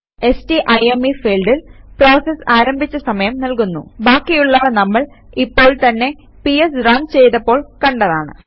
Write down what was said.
സ്റ്റൈം field process ആരംഭിച്ച സമയം നൽകുന്നു ബാക്കിയുള്ളവ നമ്മൾ ഇപ്പോൾ തന്നെ പിഎസ് റൺ ചെയ്തപ്പോൾ കണ്ടതാണ്